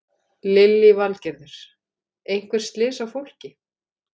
Lillý Valgerður: Einhver slys á fólki?